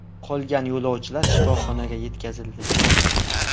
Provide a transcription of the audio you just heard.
Qolgan yo‘lovchilar shifoxonaga yetkazildi.